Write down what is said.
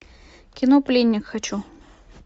кино пленник хочу